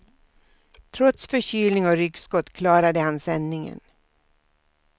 Trots förkylning och ryggskott klarade han sändningen.